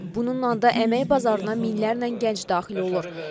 Bununla da əmək bazarına minlərlə gənc daxil olur.